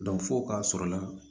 fo k'a sɔrɔla